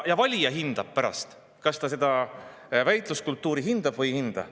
Valija pärast, kas ta seda väitluskultuuri hindab või ei hinda.